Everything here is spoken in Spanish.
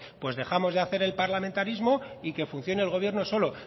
pues dejamos de hacer el parlamentarismo y que funcione el gobierno solo